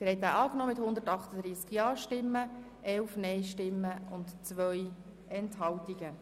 Sie haben die Planungserklärung 1 der FiKoMehrheit angenommen mit 138 Ja- gegen 11 Nein-Stimmen bei 2 Enthaltungen.